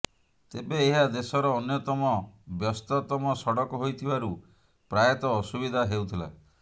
ତେବେ ଏହା ଦେଶର ଅନ୍ୟତମ ବ୍ୟସ୍ତତମ ସଡକ ହୋଇଥିବାରୁ ପ୍ରାୟତଃ ଅସୁବିଧା ହେଉଥିଲା